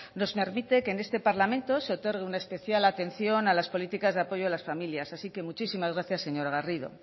nos permite que en este parlamento se otorgue una especial atención a las políticas de apoyo a las familias así que muchísimas gracias señora garrido